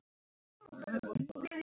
Hvor myndi vera í liðinu?